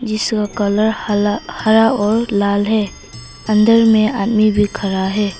इसका कलर हला हरा और लाल है अंदर में आदमी भी खड़ा है।